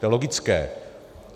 To je logické.